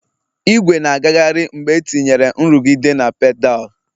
Ìgwè na-agagharị mgbe etinyere nrụgide na pedal